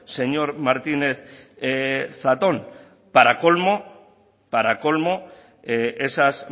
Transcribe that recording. señor martínez zatón para colmo esas